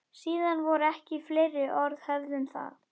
Síðan voru ekki fleiri orð höfð um það.